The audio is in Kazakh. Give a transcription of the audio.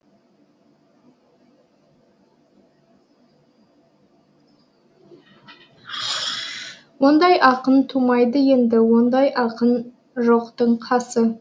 ондай ақын тумайды енді ондай ақын жоқтың қасы